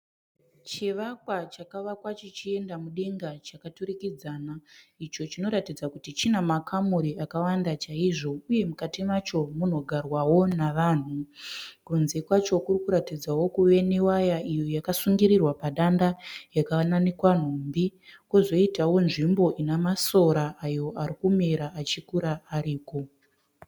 Chivakwa chakavakwa chichienda mudenga chakaturikidzana. Icho chinoratidza kuti china makamuri akawanda chaizvo uye mukati macho munogarwawo navanhu. Kunze kwacho kurikuratidzawo kuve ne waya iyo yakasungirirwa padanda yakananikwa nhumbi. Kozoitawo nzvimbo Ina masora ayo ari kumera achikura ariko.